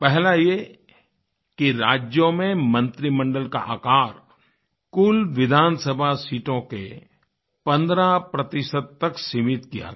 पहला ये कि राज्यों में मंत्रिमंडल का आकार कुल विधानसभा सीटों के 15 तक सीमित किया गया